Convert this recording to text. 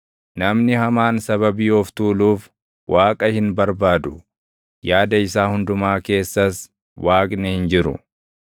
Namni hamaan sababii of tuuluuf Waaqa hin barbaadu; yaada isaa hundumaa keessas Waaqni hin jiru.